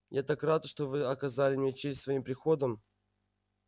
я так рад что вы оказали мне честь своим приходом